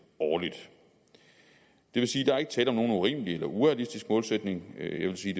årligt det vil sige at der ikke tale om nogen urimelig eller og urealistisk målsætning jeg vil sige